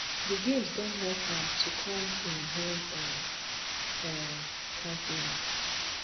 di games don help am to come im home um um continent